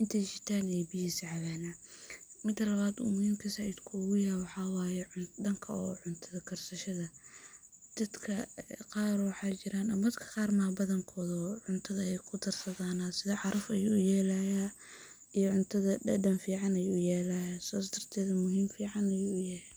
inti ay shitan ay biyahisa cabanah. Mida lawad uu adka muhim uguyaho waxa waye danka cunta karsashada dadka qar waxaa jiran ama dadka qar maaha badankoda ba cuntada ayey kudarsadanah si craf ayuu uyelaya iyo cuntada dadan fican ayuu uyelaya, sas darteda muhim fican ayuu uyahay.